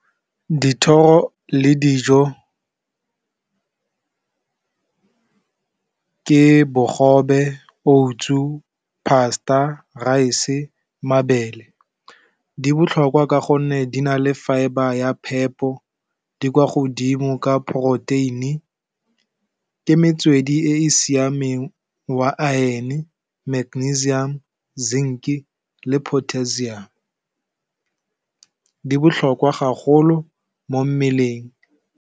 Dithoro le dijo ke bogobe, oats, pasta-a, rice-e, mabele, di botlhokwa ka gonne di na le fibre ya phepho di kwa godimo ka poroteini ke metswedi e e siameng wa a iron-e, magnesium, zinc, le potassium di botlhokwa gagolo mo mmeleng.